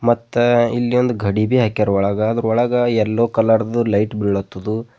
ಮತ್ತ ಇಲ್ಲಿ ಒಂದು ಗಡಿಭಿ ಹಾಕ್ಯಾರ ಒಳಗ ಅದರೊಳಗ ಯಲ್ಲೋ ಕಲರ್ ದು ಲೈಟ್ ಬೀಳತದು.